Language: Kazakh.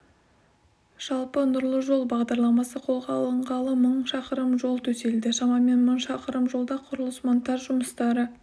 жалпы нұрлы жол бағдарламасы қолға алынғалы мың шақырым жол төселді шамамен мың шақырым жолда құрылыс-монтаж жұмыстары